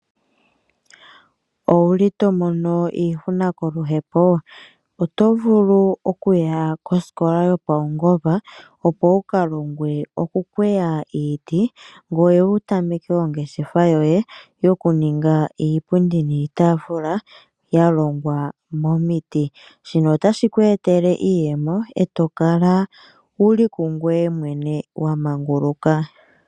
Owu li to mono iihuna koluhepo? Oto vulu okuya kosikola yopaungomba, opo wu ka longwe okukweya iiti ngoye wu tameke ongeshefa yoye yokuninga iipundi niitaafula ya longw amomiti. Shika otashi ku etele iiyemo e to kala wu li kungoye mwene wa manguluka.